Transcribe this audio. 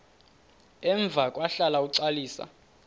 emva kwahlala uxalisa